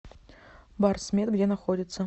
барсмед где находится